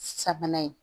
Sabanan ye